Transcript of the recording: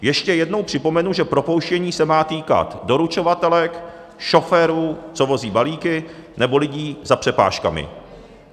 Ještě jednou připomenu, že propouštění se má týkat doručovatelek, šoférů, co vozí balíky, nebo lidí za přepážkami.